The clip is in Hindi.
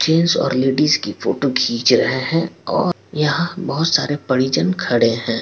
जेन्ट्स और लेडीज की फोटो खीच रहे हैं और यहाँ पे बहुत सारे परिजन खड़े हैं।